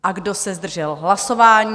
A kdo se zdržel hlasování?